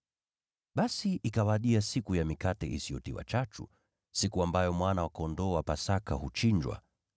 Basi ikawadia siku ya Mikate Isiyotiwa Chachu, siku ambayo mwana-kondoo wa Pasaka huchinjwa.